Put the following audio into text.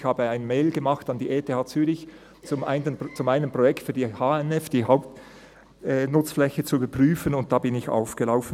Zu meinem Projekt versandte ich eine Mail an die ETH Zürich, um die Hauptnutzfläche (HNF) zu überprüfen, und lief dabei auf.